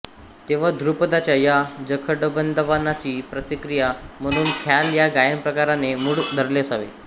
तेव्हा धृपदाच्या या जखडबंदपणाची प्रतिक्रिया म्हणून ख्याल या गायनप्रकाराने मूळ धरले असावे